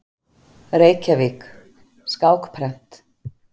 Reykjavík: Skákprent.